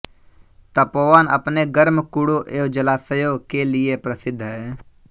तपोवन अपने गर्म कुड़ों एवं जलाशयों के लिये प्रसिद्ध है